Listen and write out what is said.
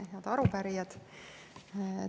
Head arupärijad!